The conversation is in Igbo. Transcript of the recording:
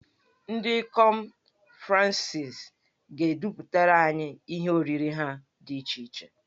Ndị ikom Fransị ga-edepụtara anyị ihe oriri ha dị iche iche.